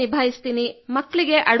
ಮನೆಯ ಕೆಲಸ ನಿಭಾಯಿಸುತ್ತೇನೆ